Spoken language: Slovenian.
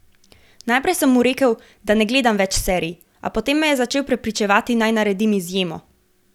Najprej sem mu rekel, da ne gledam več serij, a potem me je začel prepričevati, naj naredim izjemo.